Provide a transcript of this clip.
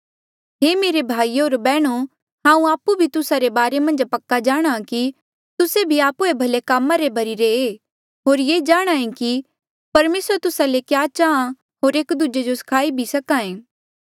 हे मेरे भाइयो होर बैहणो हांऊँ आपु भी तुस्सा रे बारे मन्झ पक्का जाणहां कि तुस्से भी आपु ई भले काम रे भर्ही रे होर ये जाणांहे कि परमेसर तुस्सा ले क्या चांहा होर एक दूजे जो सिखाई भी सक्हा ऐें